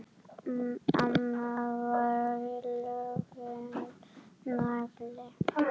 Amma var algjör nagli!